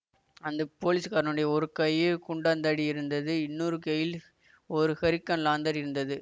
அந்த போலீஸ்காரனுடைய ஒரு கையில் குண்டாந்தடி இருந்தது இன்னொரு கையில் ஒரு ஹரிக்கன் லாந்தர் இருந்தது